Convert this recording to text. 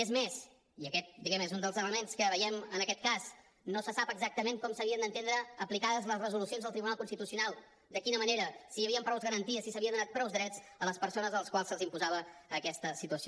és més i aquest diguem ne és un dels elements que veiem en aquest cas no se sap exactament com s’havien d’entendre aplicades les resolucions del tribunal constitucional de quina manera si hi havien prou garanties si s’havien donat prou drets a les persones a les quals se’ls imposava aquesta situació